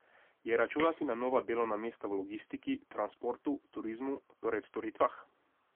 Je računati na nova delovna mesta v logistiki, transportu, turizmu, torej v storitvah?